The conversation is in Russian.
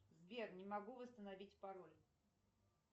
сбер не могу восстановить пароль